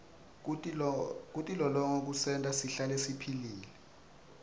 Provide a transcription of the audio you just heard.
kutilolonga kusenta sihlale siphilile